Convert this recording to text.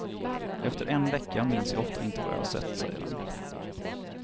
Efter en vecka minns jag ofta inte vad jag sett, säger han.